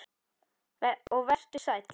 Og vertu sæll.